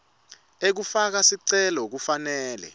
ekufaka sicelo kufanele